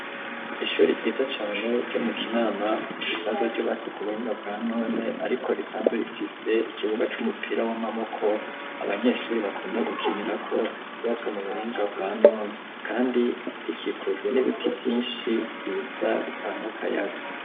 Ishuri ryiza cane ryo mu Kinama risanzwe ryubatse ku buhinga bwa none, ariko risanzwe rifise ikibuga c'umupira w'amaboko abanyeshuri bakunda gukinirako cubatswe mu buhinga bwa none, kandi rikikujwe n'ibiti vyinshi vyiza bitanga kayaga.